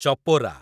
Chopra